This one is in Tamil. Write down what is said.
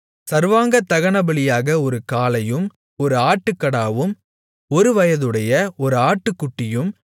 சர்வாங்கதகனபலியாக ஒரு காளையும் ஒரு ஆட்டுக்கடாவும் ஒருவயதுடைய ஒரு ஆட்டுக்குட்டியும்